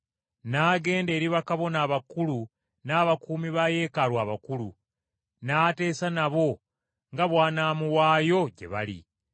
n’agenda eri bakabona abakulu n’abakuumi ba Yeekaalu abakulu, n’ateesa nabo nga bw’anaamuwaayo gye bali.